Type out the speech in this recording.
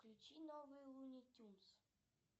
включи новый луни тюнс